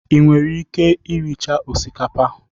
ị nwere ike rie chaa osikapa?